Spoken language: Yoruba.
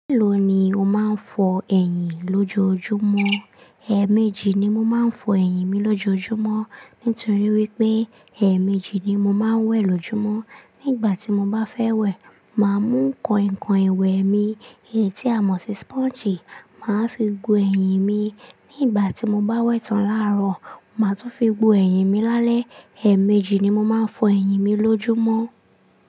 Kí ló ni o máa ń fọ ẹyìn lójoojúmọ́? Ẹ̀ẹ̀mejì ni mo máa ń fọ ẹyìn mi lójoojúmọ́. Nítorí wípé ẹ̀ẹ̀mejì ni mo máa ń wẹ̀ lójúmọ́. Nígbà tí mo bá fẹ́ wẹ̀, màá mú kọ̀ìnkọ̀ìn ìwẹ̀ mi, èyí tí a mọ̀ sí sponge, màá fi gbo ẹyìn mi. Nígbà tí mo bá wẹ̀ tán láàrọ̀, màá tún fi gbo ẹyìn mi lálẹ́. Ẹ̀ẹ̀mejì ni mo máa ń fọ ẹyìn mi lójúmọ́.